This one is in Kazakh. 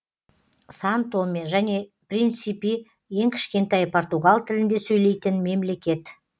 сан томе және принсипи ең кішкентай португал тілінде сөйлейтін мемлекет